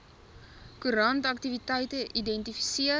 koerant aktiwiteite identifiseer